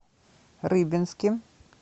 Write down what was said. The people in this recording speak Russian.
рыбинске